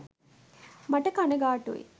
මට කණගාටුයි.